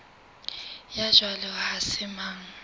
ya jwalo ha se mang